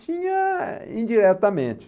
Tinha indiretamente.